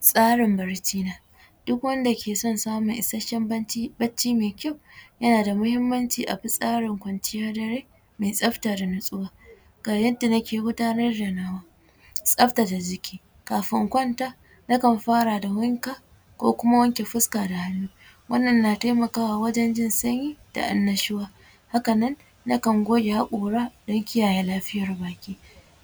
Tsarin bacci na, duk wanda ke son samun isasshen bacci mai kyau yana da muhimmanci abi tsarin kwanciyar dare mai tsafta da natsuwa, ga yadda nake gudanar da nawa tsaftace jiki kafin na kwanta na kan fara da wanka ko kuma wanke fuska da hannu wannan na taimakawa wajen jin sanyi da annashuwa haka nan nakan goge hakora don kiyaye lafiyar baki,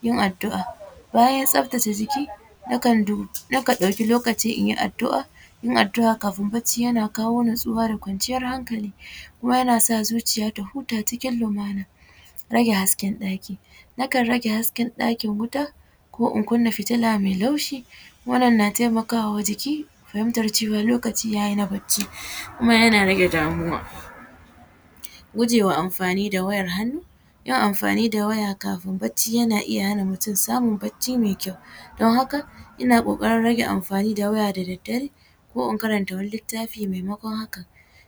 yain addua, bayan tsaftace jiki nakan ɗauki lokaci inyi addua yin addua kafin bacci yana kawo tsauwa da kwanciyar hankali kuma yana sa zuciya ta huta cikin lumana, rage hasken ɗaki nakan rage hasken ɗakin wuta ko in kunna fitilla mai laushi wannan na taimakawa jiki fahimtar cewa lokaci yayi na bacci kuma yana rage damuwa gujewa amfani da wayan hannu, yin amfani da waya kafin bacci yana iya hana mutum samun bacci mai kyau don haka ina kokarin rage amfani da waya da daddare ko in karanta wani littafi maimakon haka,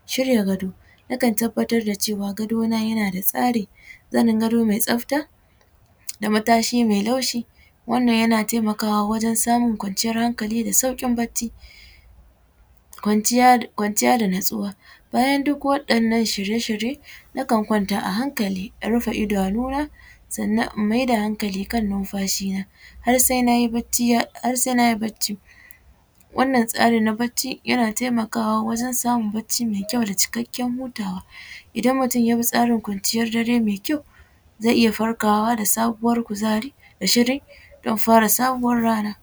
shirya gado, nakan tabbatar da cewa gadona yana da tsari zanin gado mai tsafta da matashi mai laushi wannan yana taimakawa wajen samun kwanciyar hankali da saukin bacci, kwanciya da natsuwa bayan duk waɗannan shirye-shirye nakan kwanta a hankali in rufe idanuna sannan in maida hankali kan nunfashi na har sai nayi bacci, wannan tsari na bacci yana taimakawa wajen samun bacci mai kyau da cikakken wutawa, idan mutum yabi tsarin kwanciyar dare mai kyau zai iya farkawa da sabuwar kuzari da shiri don fara sabuwar rana.